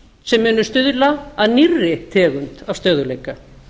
sem munu stuðla að nýrri tegund stöðugleika